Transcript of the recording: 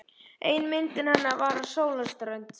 Ein myndanna hennar var af sólarströnd.